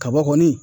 Kaba kɔni